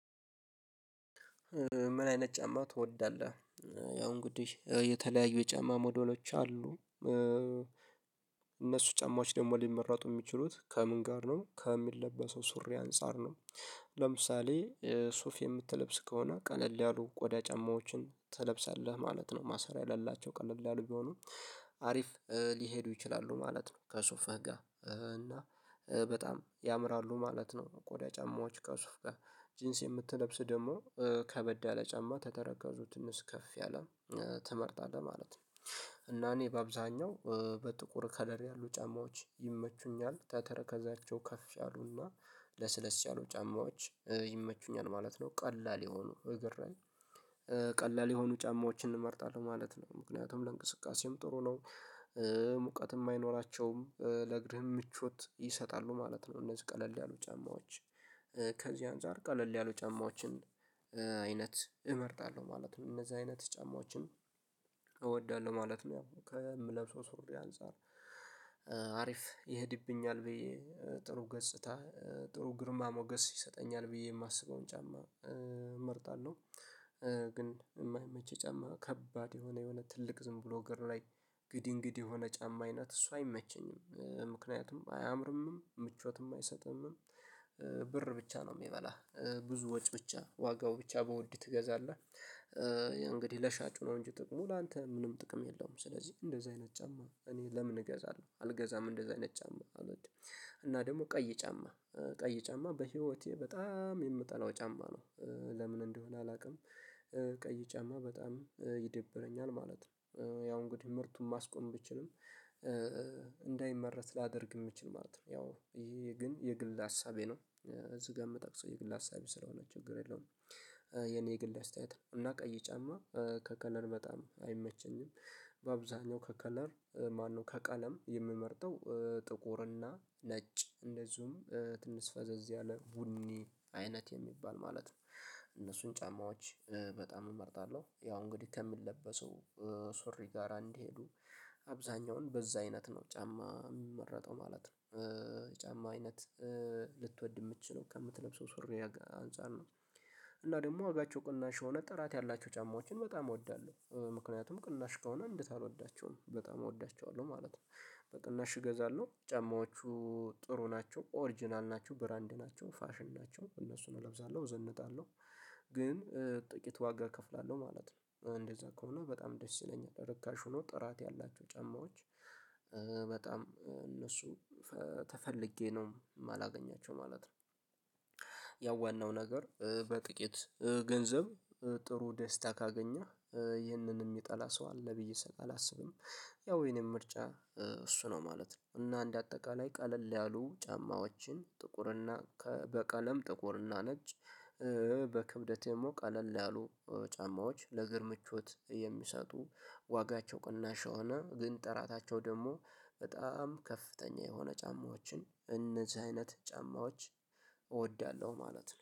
ምን አይነት ጫማ ትወዳለህ? ያው እንግዲህ የተለያዩ የጫማ ሞዴሎች አሉ። እነሱ ጫማዎች ደግሞ ሊመረጡ የሚችሉት ከምን ጋር ነው ከሚለበሰው ሱሪ አንፃር ነው። ለምሳሌ ሱፍ የምትለብስ ከሆነ ቀለል ያሉ ቆዳ ጫማዎችን ትለብሳለህ ማለት ነው ማሰሪያ ላላቸው ቀለል ያሉ ቢሆኑ አሪፍ ሊሄዱ ይችላሉ ማለት ነው። ከሱፍህ ጋር እና በጣም ያምራሉ ማለት ነው። ቆዳ ጫማዎች ከሱፋ ጋር ጅንስ የምትለብስ ደግሞ ከበድ ያለ ጫማ ከተረከዙ ትንሽ ከፍ ያለ ትመርጣለህ ማለት ነው። እና እኔ በአብኛው በጥቁር ከለር ያሉ ጫማዎች ይመቹኛል ተተረከዛቸው ከፍ ያሉና ለስለስ ያሉ ጫማዎች ይመቹኛል ማለት ነው። ቀላል የሆኑ እግር ላይ ቀላል የሆኑ ጫማዎችን እመርጣለሁ ማለት ነው። ምክንያቱም ለእንቅስቃሴም ጥሩ ነው ሙቀትም አይኖራቸውም ለእግርህም ምቾት ይሰጣሉ ማለት ነው። እነዚህ ቀለል ያሉ ጫማዎች ከዚህ አንፃር ቀለል ያሉ ጫማዎችን አይነት እመርጣለሁ ማለት ነው። እነዚህ አይነት ጫማዎችን እወዳለሁ ማለት ነው። ያው ከምለብሰው ሱሪ አንፃር አሪፍ ይሄድብኛል ብዬ ጥሩ ገጽታ ጥሩ ግርማ ሞገስ ይሰጠኛል ብዬ የማስበውን ጫማ እመርጣለሁ። ግን የማይመቸኝ ጫማ ከባድ የሆነ የሆነ ትልቅ ዝም ብሎ እግር ላይ ግድንግድ የሆነ ጫማ አይነት እሱ አይመቸኝም ምክንያቱም አያምርምም ምቾትም አይሰጥምም። ብር ብቻ ነው የሚበላ ብዙ ወጪ ብቻ ዋጋው ብቻ በወድ ትገዛለህ እንግዲህ ለሻጩ ነው እንጂ ጥቅሙ ላንተ ምንም ጥቅም የለውም። ስለዚህ እንደዚህ አይነት ጫማ እኔ ለምን እገዛለሁ አልገዛም እንደዚህ አይነት ጫማ አልወድም። እና ደግሞ ቀይ ጫማ ቀይ ጫማ በህይወቴ በጣም የምጠላው ጫማ ነው ለምን እንደሆነ አላውቅም። ቀይ ጫማ በጣም ይደብረኛል ማለት ነው። ያው እንግዲህ ምርቱን ማስቆም ብችልም እንዳይመረት ላደርግ የምችል ማለት ነው ያው ይሄ ግን የግል ሀሳቤ ነው እዚህ ጋር የምጠቅሰው የግል ሀሳቤ ስለሆነ ችግር የለውም። የግል አስተያየት ነው እና ቀይ ጫማ ከከለር በጣም አይመቸኝም። በአብዛኛው ከከለር ማነው ከቀለም የምመርጠው ጥቁርና ነጭ እንደዚሁም ትንሽፈዘዝ ያለ ቡኒ አይነት የሚባል ማለት ነው እነሱን ጫማዎች በጣም እመርጣለሁ። ያው እንግዲህ ከሚለበሰው ሱሪ ጋር እንዲሄዱ አብዛኛውን በዛ አይነት ነው ጫማ የሚመረጠው ማለት ነው። ጫማ አይነት ልትወድ ምችለው ነው ከምትለብሰው ሱሪ አንፃር ነው። እና ደግሞ ዋጋቸው ቅናሽ የሆነ ጥራት ያላቸው ጫማዎችን በጣም እወዳለሁ ምክንያቱም ቅናሽ ከሆነ እንዴት አልወዳቸውም በጣም እወዳቸዋለሁ ማለት ነው። በቅናሽ እገዛለሁ ጫማዎቹ ጥሩ ናቸው ኦሪጅናል ናቸው ብራንድ ናቸው ፋሽን ናቸው እነሱን እለብሳለሁ እዘነጣለሁ። ግን ጥቂት ዋጋ እከፍላለሁ ማለት ነው እንደዛ ከሆነ በጣም ደስ ይለኛል ርካሽ ሆኖ ጥራት ያላቸው ጫማዎች በጣም እነሱ ተፈልጌ ነው የማላገኛቸው ማለት ነው። ያው ዋናው ነገር በጥቂት ገንዘብ ጥሩ ደስታ ካገኘህ ይህንንም የሚጠላ ሰው አለ ብዬ ስል አላስብም። ያው የኔም ምርጫ እሱ ነው ማለት ነው። እና እንደ አጠቃላይ ቀለል ያሉ ጫማዎችን ጥቁር እና በቀለም ጥቁር እና ነጭ በክብደቴ ደሞ ቀለል ያሉ ጫማዎች ለእግር ምቾት የሚሰጡ ዋጋቸው ቅናሽ የሆነ ግን ጥራታቸው ደግሞ በጣም ከፍተኛ የሆነ ጫማዎችን እነዚህ አይነት ጫማዎች እወዳለሁ ማለት ነው